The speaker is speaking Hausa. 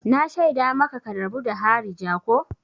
Na shaida maka ka rabu da harija ko!